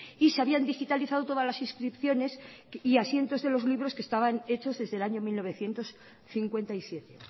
y se habían digitalizado todas las inscripciones y asientos de los libros que estaban hechos desde el año mil novecientos cincuenta y siete